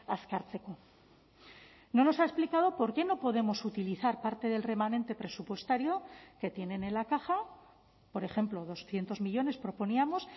azkartzeko no nos ha explicado por qué no podemos utilizar parte del remanente presupuestario que tienen en la caja por ejemplo doscientos millónes proponíamos